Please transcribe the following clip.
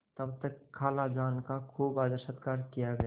तब तक खालाजान का खूब आदरसत्कार किया गया